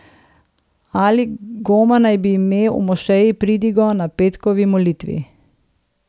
Ali Goma naj bi imel v mošeji pridigo na petkovi molitvi.